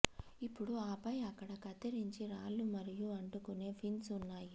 ఇప్పుడు ఆపై అక్కడ కత్తిరించి రాళ్ళు మరియు అంటుకునే పిన్స్ ఉన్నాయి